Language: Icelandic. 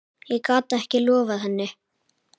Ég gat ekki loftað henni.